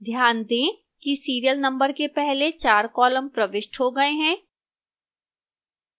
ध्यान दें कि serial number के पहले 4 columns प्रविष्ट हो गए हैं